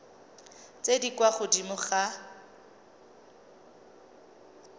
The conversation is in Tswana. tse di kwa godimo ga